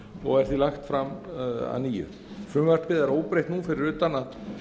og er því lagt fram að nýju frumvarpið er óbreytt nú fyrir utan að